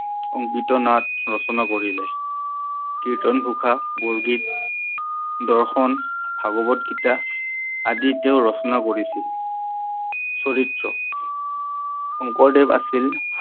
অংকীয়া নাট ৰচনা কৰিলে, কীৰ্তন ঘোষা, বৰগীত, দৰ্শণ, ভাগৱত গীতা আদি তেও ৰচনা কৰিছিল। চৰিত্ৰ শংকৰদেৱ আছিল